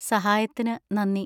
സഹായത്തിന് നന്ദി.